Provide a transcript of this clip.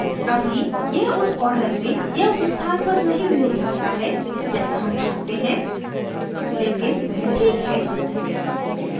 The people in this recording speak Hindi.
अभी यह उस order में या उस स्थान पर नहीं भी हो सकता है जैसा हम चाहते हैं लेकिन वह ठीक है